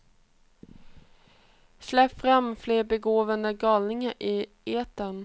Släpp fram fler begåvade galningar i etern.